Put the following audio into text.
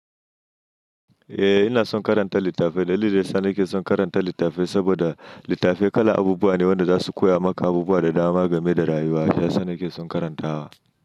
Eh ina son karanta littafai. Dalilin da yana yake son karanta littafai saboda littafai kala abubuwa ne wanda zasu koya maka abubuwa da dama game da rayuwa. Shi yasa nake son karantawa.